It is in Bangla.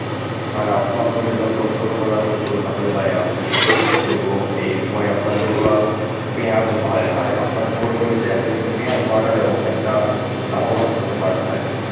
ভাই আপনার জমি যেহেতু অত্যন্ত পরিমাণে উঁচু তাহলে ভাই আপনাকে suggest করব এই সময় আপনার যেগুলা পেঁয়াজ হয় ভাই আপনার পুরো জমিতে আপনি কিন্তু পেঁয়াজ লাগালেও অনেকটা লাভবান হতে পারেন ভাই.